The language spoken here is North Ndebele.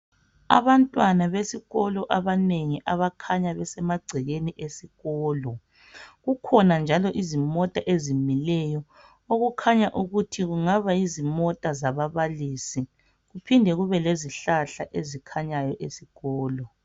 Abantwana besikolo abanengi abakhanya besemagcekeni esikolo kukhona njalo izimota ezimileyo okukhanya ukuthi kungaba yizimota zababalisi kuphinde kube lezihlahla ezikhanyayo esikolo.